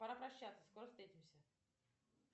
пора прощаться скоро встретимся